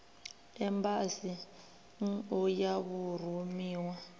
embasi nn u ya vhurumiwa